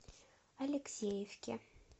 алексеевке